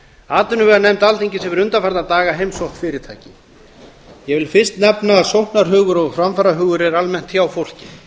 atvinnuveganefnd alþingis hefur undanfarna daga heimsótt fyrirtæki ég vil fyrst nefna að sóknarhugur og framfarahugur er almennt hjá fólki